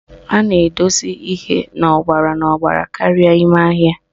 A na-edosi ihe n'ọgbara n'ọgbara karịa ime ahịa